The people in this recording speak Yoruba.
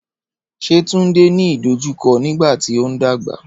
Ṣé Túndé ní ìdojúkọ nígbàtí o ń dàgbà?